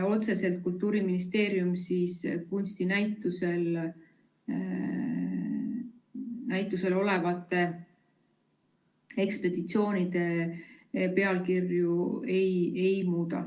Otseselt Kultuuriministeerium kunstinäitusel olevate ekspositsioonide pealkirju ei muuda.